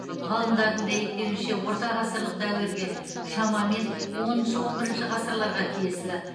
ғалымдардың дәйектеуінше ортағасырлық дәуірге шамамен оныншы он бірінші ғасырларға тиесілі